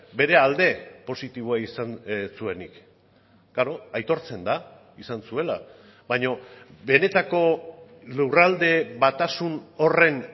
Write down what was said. bere alde positiboa izan ez zuenik klaro aitortzen da izan zuela baina benetako lurralde batasun horren